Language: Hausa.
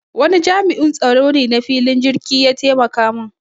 Wani jami'in tsaro ne na filin jirki ya taimaka mun